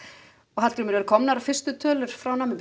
Hallgrímur eru komnar fyrstu tölur frá Namibíu